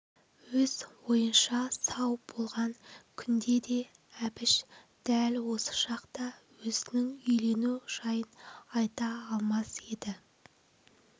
өз ойынша сау болған күнде де әбіш дәл осы шақта өзінің үйлену жайын айта алмас еді